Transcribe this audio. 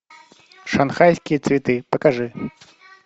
шанхайские цветы покажи